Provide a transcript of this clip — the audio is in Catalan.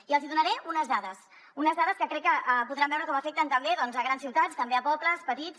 i els hi donaré unes dades unes dades que crec que podran veure com afecten també grans ciutats també pobles petits